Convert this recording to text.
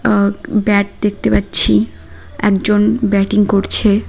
আ bat দেখতে পাচ্ছি একজন ব্যাটিং করছে।